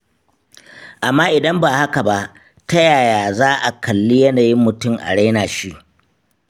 Amma idan ba haka ba, ta yaya za a kalli yanayin mutum a raina shi.